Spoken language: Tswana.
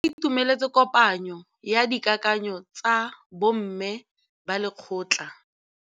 Ba itumeletse kôpanyo ya dikakanyô tsa bo mme ba lekgotla.